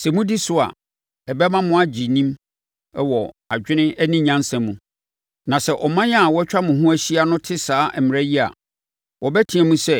Sɛ modi so a, ɛbɛma mo agye nim wɔ adwene ne nyansa mu. Na sɛ aman a wɔatwa mo ho ahyia no te saa mmara yi a, wɔbɛteam sɛ,